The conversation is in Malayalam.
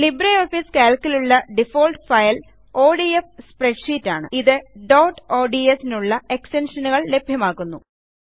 LibreOfficeCalcലുള്ള ഡിഫാൾട്ട് ഫയൽ ഒഡിഎഫ് സ്പ്രെഡ്ഷീറ്റ് ആണ് ഇത് ഡോട്ട് ഓഡ്സ് നുള്ള എക്സ്റ്റൻഷനുകൾ ലഭ്യമാക്കുന്നു